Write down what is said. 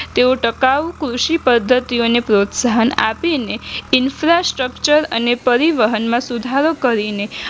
તેઓ ટકાઉ કૃષિ પદ્ધતિઓને પ્રોત્સાહન આપીને infrastructure અને પરિવહનમાં સુધારો કરીને